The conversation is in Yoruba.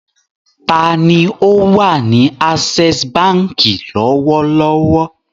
Ta ni ó wà ní Access Báńkì lọ́wọ́lọ́wọ́?